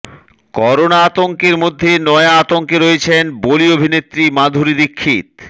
corona আতঙ্কের মধ্যে নয়া আতঙ্কে রয়েছেন বলি অভিনেত্রী মাধুরী দীক্ষিত